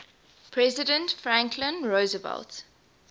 president franklin roosevelt